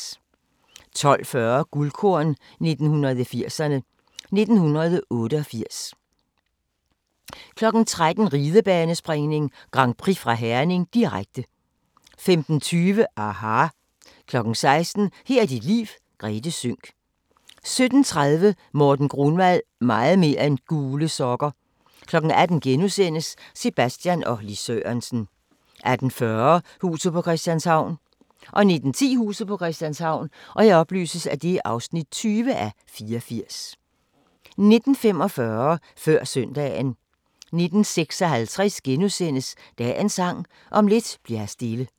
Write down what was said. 12:40: Guldkorn 1980'erne: 1988 13:00: Ridebanespringning: Grand Prix fra Herning, direkte 15:20: aHA! 16:00: Her er dit liv - Grethe Sønck 17:30: Morten Grunwald – meget mere end gule sokker 18:00: Sebastian og Lis Sørensen * 18:40: Huset på Christianshavn 19:10: Huset på Christianshavn (20:84) 19:45: Før søndagen 19:56: Dagens Sang: Om lidt bli'r her stille *